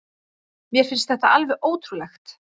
Mér finnst þetta alveg ótrúlegt